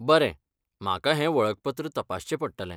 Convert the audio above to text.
बरें, म्हाका हें वळखपत्र तपासचें पडटलें.